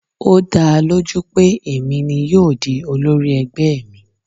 Ó dáa lójú pé èmi ni yóò di olórí ẹgbẹ́ mi.